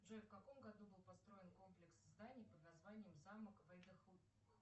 джой в каком году был построен комплекс зданий под названием замок